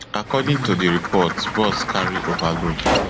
according to report di bus carry overload